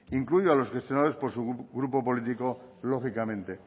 incluyo a los gestionados por grupo político lógicamente